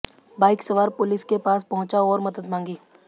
bike सवार police के पास पहुंचा और मदद मांगी